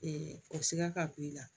o sɛgɛn ka bon i la